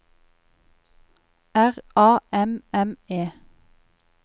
R A M M E